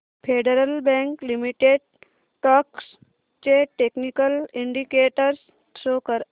federal bank limited stocks चे technical indicators show कर